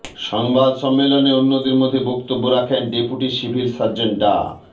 সংবাদ সম্মেলনে অন্যদের মধ্যে বক্তব্য রাখেন ডেপুটি সিভিল সার্জন ডা